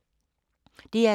DR2